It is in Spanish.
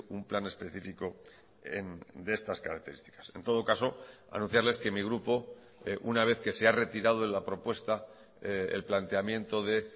un plan específico de estas características en todo caso anunciarles que mi grupo una vez que se ha retirado de la propuesta el planteamiento de